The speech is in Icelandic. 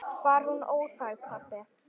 Var hún óþæg, pabbi?